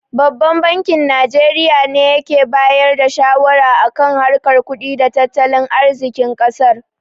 Babban bankin Najeriya ne yake bayar da shawara a kan harkar kudi da tattalin arzikin ƙasar.